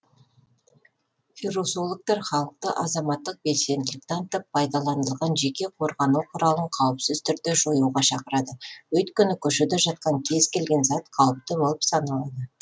вирусологтар халықты азаматтық белсенділік танытып пайдаланылған жеке қорғану құралын қауіпсіз түрде жоюға шақырады өйткені көшеде жатқан кез келген зат қауіпті болып саналады